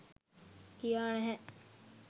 කියා නෑහෑ.